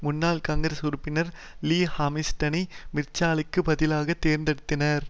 முன்னாள் காங்கிரஸ் உறுப்பினர் லீ ஹாமில்டனை மிற்சலுக்கு பதிலாக தேர்ந்தெடுத்தனர்